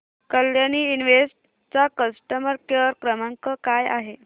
Kalyani invest चा customer care क्रमांक काय आहे